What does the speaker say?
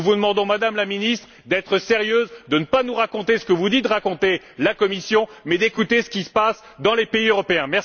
Nous vous demandons, Madame la Ministre, d'être sérieuse, de ne pas nous raconter ce que vous dit de raconter la Commission, mais d'écouter ce qui se passe dans les pays européens.